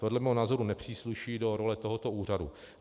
Podle mého názoru nepřísluší do role tohoto úřadu.